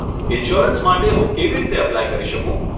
Insurance માટે હું કેવી રીતે અપ્લાય કરી શકું?